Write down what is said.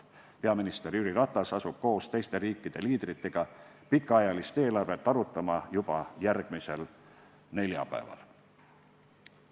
Peaminister Jüri Ratas asub koos teiste riikide liidritega pikaajalist eelarvet arutama juba järgmisel neljapäeval.